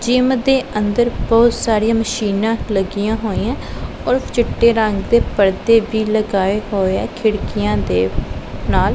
Gym ਦੇ ਅੰਦਰ ਬਹੁਤ ਸਾਰੀਆਂ ਮਸ਼ੀਨਾਂ ਲੱਗੀਆਂ ਹੋਈਆਂ ਔਰ ਚਿੱਟੇ ਰੰਗ ਦੇ ਪਰਦੇ ਭੀ ਲਗਾਏ ਹੋਏ ਆ ਖਿੜਕੀਆਂ ਦੇ ਨਾਲ।